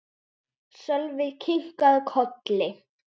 Sölvi kinkaði kolli.